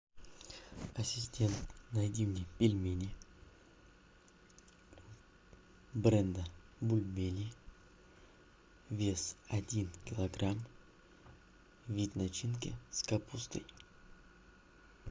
ассистент найди мне пельмени бренда бульмени вес один килограмм вид начинки с капустой